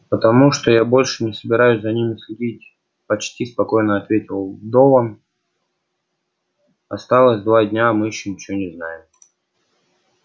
потому что я больше не собираюсь за ними следить почти спокойно ответил дован осталось два дня а мы ещё ничего не знаем